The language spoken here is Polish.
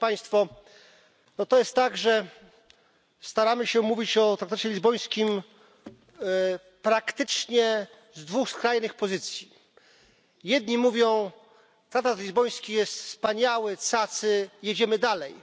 No to jest tak, że staramy się mówić o traktacie lizbońskim praktycznie z dwóch skrajnych pozycji. Jedni mówią traktat lizboński jest wspaniały, cacy, jedziemy dalej